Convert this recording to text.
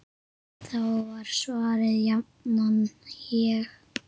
Þá var svarið jafnan: Ég?!